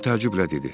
Tom təəccüblə dedi: